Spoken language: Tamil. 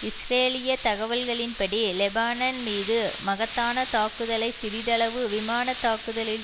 இஸ்ரேலிய தகவல்களின்படி லெபானன் மீது மகத்தான தாக்குதலை சிறிதளவு விமான தாக்குதலில்